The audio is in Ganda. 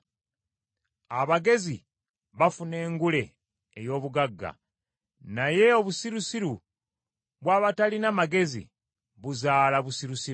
Abagezi bafuna engule ey’obugagga, naye obusirusiru bw’abatalina magezi buzaala busirusiru.